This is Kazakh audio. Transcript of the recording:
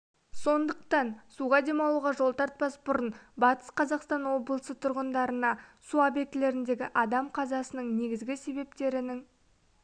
сондықтан суға демалуға жол тартпас бұрын батыс қазақстан облысы тұрғындарына су объектілеріндегі адам қазасының негізгі себептерінің